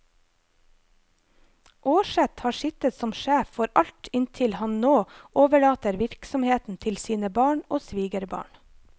Aarseth har sittet som sjef for alt inntil han nå overlater virksomheten til sine barn og svigerbarn.